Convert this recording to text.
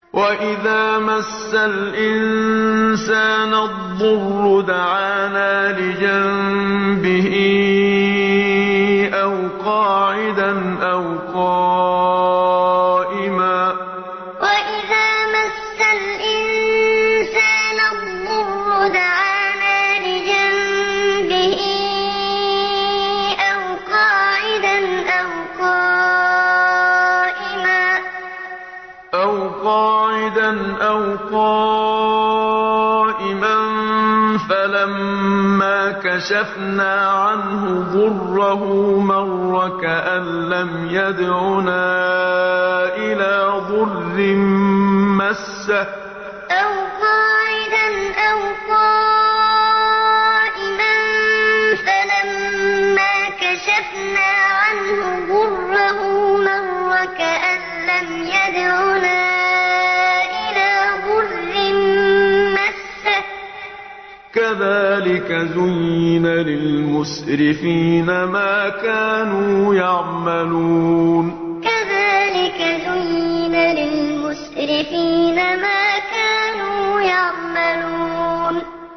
وَإِذَا مَسَّ الْإِنسَانَ الضُّرُّ دَعَانَا لِجَنبِهِ أَوْ قَاعِدًا أَوْ قَائِمًا فَلَمَّا كَشَفْنَا عَنْهُ ضُرَّهُ مَرَّ كَأَن لَّمْ يَدْعُنَا إِلَىٰ ضُرٍّ مَّسَّهُ ۚ كَذَٰلِكَ زُيِّنَ لِلْمُسْرِفِينَ مَا كَانُوا يَعْمَلُونَ وَإِذَا مَسَّ الْإِنسَانَ الضُّرُّ دَعَانَا لِجَنبِهِ أَوْ قَاعِدًا أَوْ قَائِمًا فَلَمَّا كَشَفْنَا عَنْهُ ضُرَّهُ مَرَّ كَأَن لَّمْ يَدْعُنَا إِلَىٰ ضُرٍّ مَّسَّهُ ۚ كَذَٰلِكَ زُيِّنَ لِلْمُسْرِفِينَ مَا كَانُوا يَعْمَلُونَ